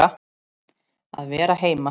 Að vera heima.